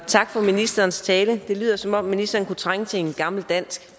tak for ministerens tale det lyder som om ministeren kunne trænge til en gammel dansk